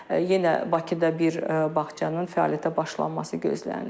Yenə Bakıda bir bağçanın fəaliyyətə başlanması gözlənilir.